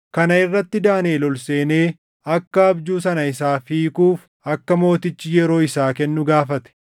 Kana irratti Daaniʼel ol seenee akka abjuu sana isaaf hiikuuf akka mootichi yeroo isaa kennu gaafate.